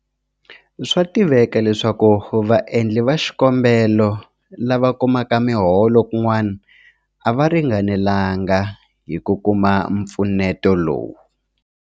Swa tiveka leswaku vaendli va xikombelo lava kumaka miholo kun'wana a va ringanelanga hi ku kuma mpfuneto lowu.